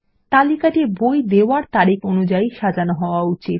তালিকাটি বই দেওয়ার তারিখ অনুযায়ী সাজানো হওয়া উচিত